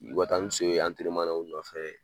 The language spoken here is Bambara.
I u ka taa ni so ye na u nɔfɛ